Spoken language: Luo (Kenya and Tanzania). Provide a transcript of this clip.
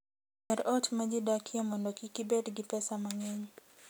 Yier ot ma ji dakie mondo kik ibed gi pesa mang'eny.